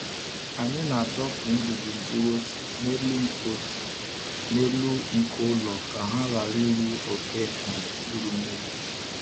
Anyị na-adọpụ ngwugwu mkpụrụ ose n’elu nko ose n’elu nko ụlọ ka ha ghara iru oke ma ọ bụ iru mmiri.